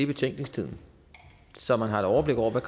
betænkningstiden så man har et overblik over hvad